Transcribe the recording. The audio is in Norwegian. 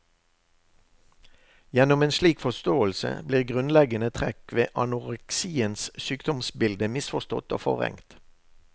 Gjennom en slik forståelse blir grunnleggende trekk ved anoreksiens sykdomsbilde misforstått og forvrengt.